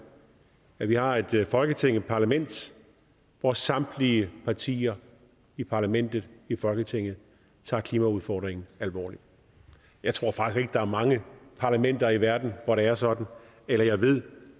at vi har et folketing et parlament hvor samtlige partier i parlamentet i folketinget tager klimaudfordringen alvorligt jeg tror faktisk der er mange parlamenter i verden hvor det er sådan eller jeg ved